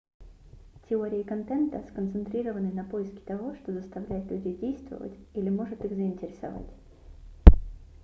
теории контента сконцентрированы на поиске того что заставляет людей действовать или может их заинтересовать